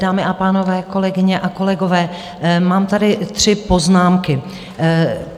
Dámy a pánové, kolegyně a kolegové, mám tady tři poznámky.